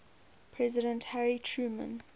president harry truman